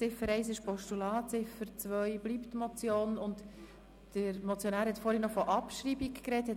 Die Ziffer 1 ist ein Postulat, die Ziffer 2 bleibt Motion, und der Motionär hat vorhin noch von Abschreibung gesprochen.